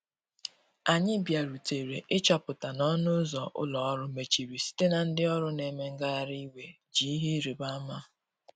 Anyi bia rutere ị chọpụta na ọnụ ụzọ ụlọ orụ mechịrị site na ndi ọrụ na eme ngahari iwè ji ihe ịrịbe ama.